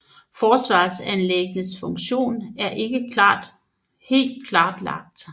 Forsvarsanlæggenes funktion er ikke helt klarlagt